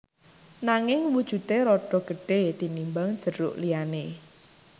Nanging wujudé rada gedhé tinimbang jeruk liyané